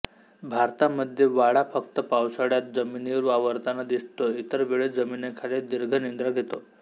भारतामध्ये वाळा फक्त पावसाळ्यात जमिनीवर वावरताना दिसतो इतर वेळी जमिनीखाली दीर्घनिद्रा घेतो